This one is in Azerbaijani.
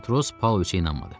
Matros Pauloviçə inanmadı.